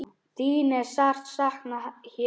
Þín er sárt saknað hér.